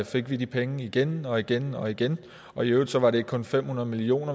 fik de penge igen og igen og igen og i øvrigt var det ikke kun fem hundrede million